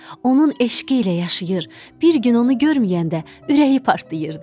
Onun eşqi ilə yaşayır, bir gün onu görməyəndə ürəyi partlayırdı.